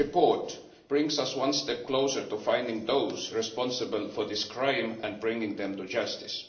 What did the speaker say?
The report brings us one step closer to finding those responsible for this crime and bringing them to justice.